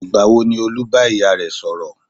Ìgbà wo ni Olú bá ìyá rẹ̀ sọ̀rọ̀?